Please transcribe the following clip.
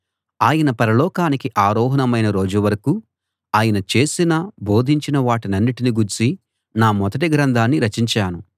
ఆయన పరలోకానికి ఆరోహణమైన రోజు వరకూ ఆయన చేసిన బోధించిన వాటన్నిటిని గూర్చి నా మొదటి గ్రంథాన్ని రచించాను